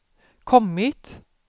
kommit